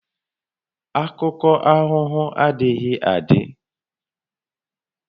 Akụkọ aghụghọ adịghị adị